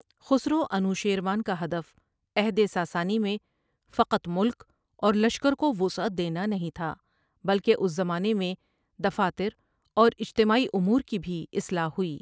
خسروانوشیروان کا ہدف عہدساسانی میں فقط ملک اور لشکر کو وسعت دینا نہیں تھا بلکہ اس کے زمانے میں دفاتر اوراجتماعی امور کی بھی اصلاح ہوئی ۔